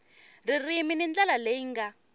ririmi hi ndlela leyi nga